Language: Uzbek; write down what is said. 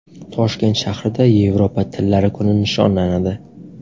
Toshkent shahrida Yevropa tillari kuni nishonlanadi.